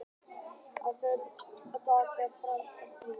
Vífill, hversu margir dagar fram að næsta fríi?